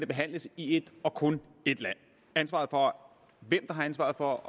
behandles i et og kun et land hvem der har ansvaret for